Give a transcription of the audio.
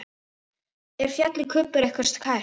Er fjallið Kubbur ykkur kært?